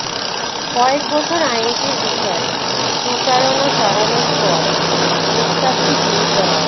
কয়েকবছর আইনটির বিষয়ে প্রচারণা চালানোর পর প্রস্তাবটি গৃহীত হয়